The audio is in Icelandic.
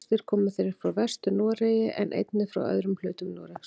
Flestir komu þeir frá Vestur-Noregi en einnig frá öðrum hlutum Noregs.